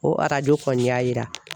O arajo kɔni y'a yira.